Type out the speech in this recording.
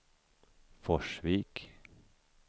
Forsvik